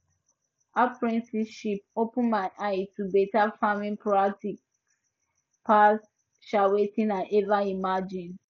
apprenticeship open my eye to better farming practices pass um wetin i ever imagine